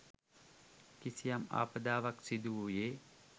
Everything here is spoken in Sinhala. කිසියම් ආපදාවක් සිදුවූයේ